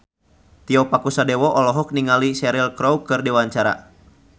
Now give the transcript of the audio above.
Tio Pakusadewo olohok ningali Cheryl Crow keur diwawancara